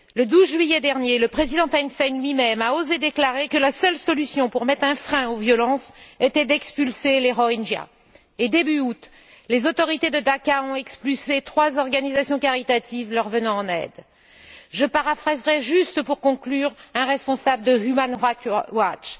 Le 12 juillet dernier, le président Thein Sein lui même a osé déclarer que la seule solution pour mettre un frein à la violence était d'expulser les Rohingyas et, début août, les autorités de Dacca ont expulsé trois organisations caritatives leur venant en aide. Je paraphraserai juste, pour conclure, un responsable de Human Rights Watch